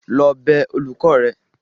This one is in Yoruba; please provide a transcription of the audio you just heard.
lọ bẹ olùkọ́ rẹ!